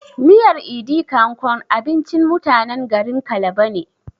Miyar "idi kan kon" abincin mutanen garin kalba ne